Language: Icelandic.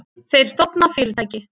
Þeir stofna fyrirtæki.